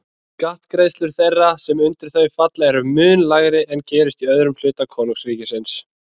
Skattgreiðslur þeirra sem undir þau falla eru mun lægri en gerist í öðrum hluta konungsríkisins.